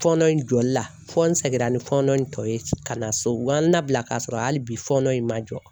Fɔɔnɔ in jɔli la fɔ n sɛgira ni fɔɔnɔ in tɔ ye ka na so u y'an labila k'a sɔrɔ hali bi fɔɔnɔ in man jɔ.